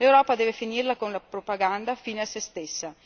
L'Europa deve finirla con la propaganda fine a se stessa.